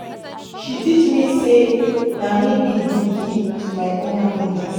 She teach me sey na me be di key to my own happiness.